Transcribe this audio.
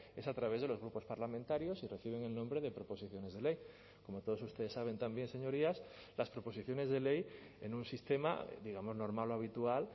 es a través de los grupos parlamentarios y reciben el nombre de proposiciones de ley como todos ustedes saben también señorías las proposiciones de ley en un sistema digamos normal o habitual